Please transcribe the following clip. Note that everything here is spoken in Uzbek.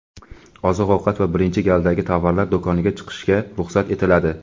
oziq-ovqat va birinchi galdagi tovarlar do‘koniga chiqishga ruxsat etiladi.